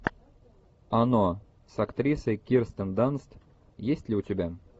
оно с актрисой кирстен данст есть ли у тебя